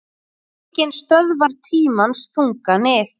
Enginn stöðvar tímans þunga nið